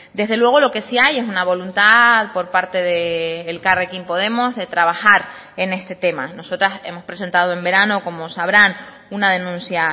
desde luego lo que sí hay es una voluntad por parte de elkarrekin podemos de trabajar en este tema nosotras hemos presentado en verano como sabrán una denuncia